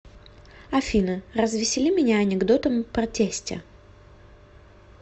афина развесели меня анекдотом про тестя